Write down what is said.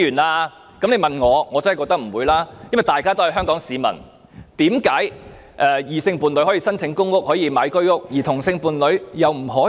我當然認為不會如此，因為同屬香港市民，為何異性伴侶可申請公屋和購買居屋，同性伴侶卻不可以？